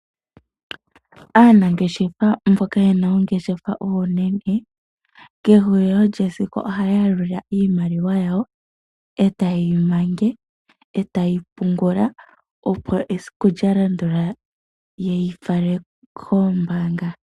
Aanangeshefa mboka yena oongeshefa oonene. Kehulilo lyesiku ohaya yalula iimaliwa yawo eta ye yi manga. Etaye yi pungula opo esiku lya landula ye yi fale kombaanga.